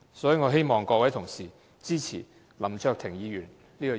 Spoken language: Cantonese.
所以，我希望各位同事支持林卓廷議員的議案。